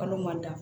Kalo ma da